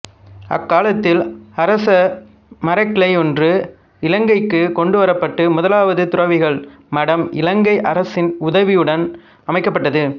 அக்காலத்தில் அரச மரக்கிளையொன்று இலங்கைக்கு கொண்டுவரப்பட்டு முதலாவது துறவிகள் மடம் இலங்கை அரசன் உதவியுடன் அமைக்கப்பட்டது